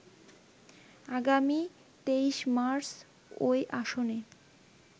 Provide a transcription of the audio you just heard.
আগামী ২৩ মার্চ ওই আসনে